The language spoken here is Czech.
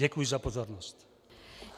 Děkuji za pozornost.